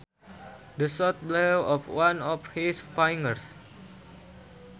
The shot blew off one of his fingers